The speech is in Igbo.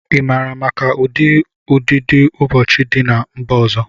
Ị maara maka ụdị ụdidiụbọọchi dị na mba ọzọ?